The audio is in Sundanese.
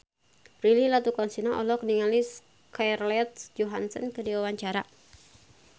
Prilly Latuconsina olohok ningali Scarlett Johansson keur diwawancara